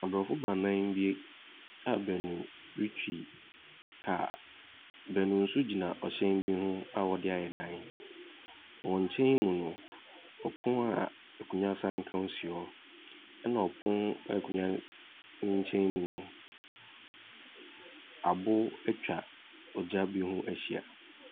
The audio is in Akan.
Aborɔfo baanan bi a baanu retwi kaa. Baanu nso gyina hyɛn bi ho a wɔde ayɛ dan. Wɔn nkyɛn mu no, pono a akonnwa ka ho si hɔ, ɛnna pono no akonnwa no nkyɛn mu no, aboɔ atwa ogya bi ho ahyia.